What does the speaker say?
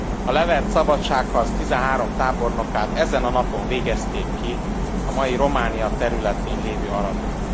A levert szabadságharc tizenhárom tábornokát ezen a napon végezték ki a mai Románia területén lévő Aradon.